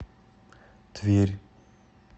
тверь